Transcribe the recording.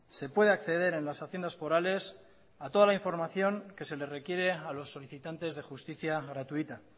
se puede acceder en las haciendas forales a toda la información que se le requiere a los solicitantes de justicia gratuita